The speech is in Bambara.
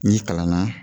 N'i kalan na